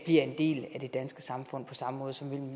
en del af det danske samfund på samme måde som